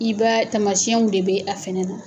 I ba tamasiyɛnw de bɛ a fana na